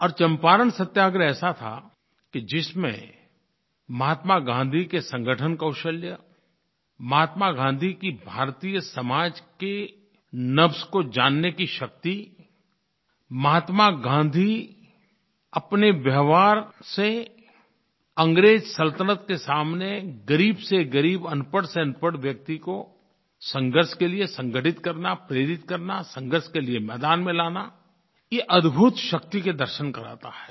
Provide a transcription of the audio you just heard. और चंपारण सत्याग्रह ऐसा था कि जिसमें महात्मा गाँधी के संगठन कौशल महात्मा गाँधी की भारतीय समाज की नब्ज़ को जानने की शक्ति महात्मा गाँधी अपने व्यवहार से अंग्रेज सल्तनत के सामने ग़रीब से ग़रीब अनपढ़ से अनपढ़ व्यक्ति को संघर्ष के लिये संगठित करना प्रेरित करना संघर्ष के लिये मैदान में लाना ये अद्भुत शक्ति के दर्शन कराता है